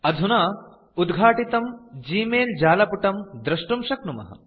अधुना उद्घाटितं ग्मेल जालपुटं द्रुष्टुं शक्नुमः